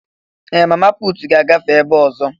Ee! Mama puutu ga-agafe ebe a ọzọ.